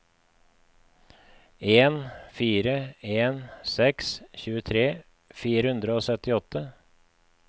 en fire en seks tjuetre fire hundre og syttiåtte